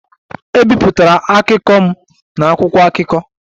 Ebipụtara akụkọ m na akwụkwọ akụkọ.